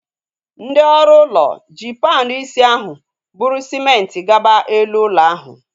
Ndị ọrụ ụlọ ji panu isi ahu bụrụ sịmenti gaba elu ụlọ ahu